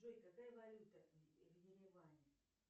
джой какая валюта в ереване